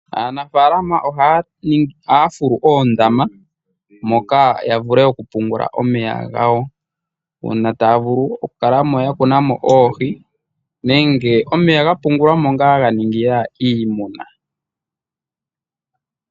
Aanafalama ohaya fulu oondama moka, yavule okupungula omeya gawo uuna taya vulu okukala mo ya kuna mo oohi, nenge omeya ga pungulwa mo ngaa ganingila iimuna.